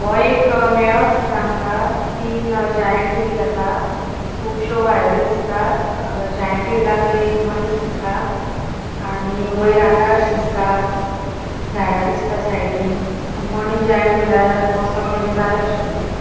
हो एक मेळो दिसता आमका तीन जायन्ट व्हील असा. खुबशों वायरी दिसतात. जायन्ट व्हीलाकडे एक मनिस दिसता. आणि वैर आकाश दिसता झाडा दिसता साइडीन आणि मनिस जायन्ट व्हिलार बोसॉन ताचे झाले अशे दिसता.